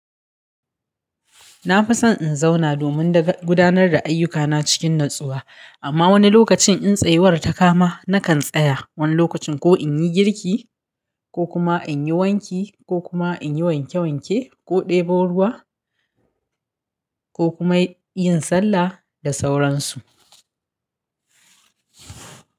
Na fi son in zauna domin gudanar da ayyukana cikin natsuwa, amma wani lokacin in tsayuwar ta kama, nakan tsaya. Wani lokacin ko in yi girki ko kuma in yi wanki ko kuma in yi wanke wanke ko ɗebo ruwa ko kuma yin sallah da sauran su.